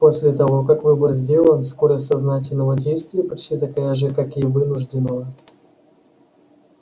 после того как выбор сделан скорость сознательного действия почти такая же как и вынужденного